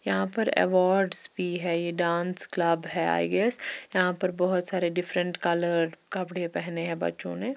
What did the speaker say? यहाँ पर अवार्ड्स भी हैं ये डांस क्लब है आई_एस यहाँ पर बहुत सारे डिफरेंट कलर्स कपड़े पहने हैं बच्चों ने।